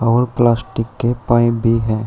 और प्लास्टिक के पाइप भी हैं।